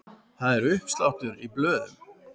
Það er uppsláttur í blöðum.